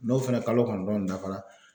N'o fana kalo kɔnɔntɔn dafara